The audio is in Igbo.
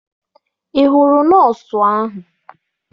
Ị hụrụ nọọsụ ahụ?